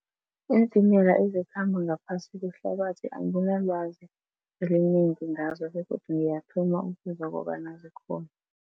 Iintimela ezikhamba ngaphasi kwehlabathi anginalwazi elinengi ngazo begodu ngiyathoma ukuzwa kobana zikhona.